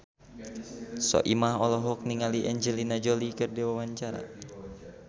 Soimah olohok ningali Angelina Jolie keur diwawancara